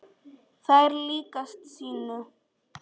Þær líkjast sinu.